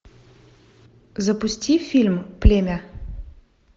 запусти фильм племя